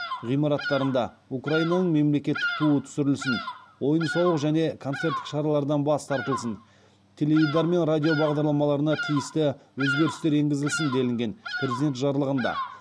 ғимараттарында украинаның мемлекеттік туы түсірілсін ойын сауық және концерттік шаралардан бас тартылсын теледидар мен радио бағдарламаларына тиісті өзгерістер енгізілсін делінген президент жарлығында